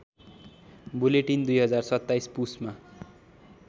bulletin २०२७ पुसमा